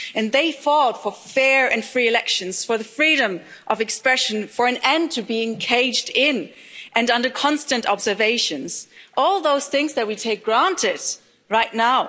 They fought for fair and free elections, for the freedom of expression, for an end to being caged in and under constant observation all those things that we take for granted right now.